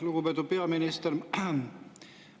Lugupeetud peaminister!